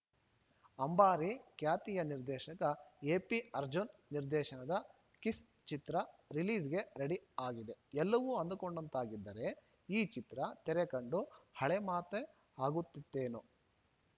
ಅಂಬಾರಿ ಖ್ಯಾತಿಯ ನಿರ್ದೇಶಕ ಎಪಿಅರ್ಜುನ್‌ ನಿರ್ದೇಶನದ ಕಿಸ್‌ ಚಿತ್ರ ರಿಲೀಸ್‌ಗೆ ರೆಡಿ ಆಗಿದೆ ಎಲ್ಲವೂ ಅಂದುಕೊಂಡಂತಾಗಿದ್ದರೆ ಈ ಚಿತ್ರ ತೆರೆ ಕಂಡು ಹಳೇ ಮಾತೇ ಆಗುತ್ತಿತ್ತೆನೋ